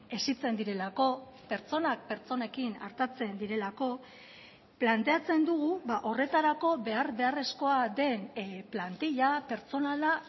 hezitzen direlako pertsonak pertsonekin artatzen direlako planteatzen dugu horretarako behar beharrezkoa den plantilla pertsonala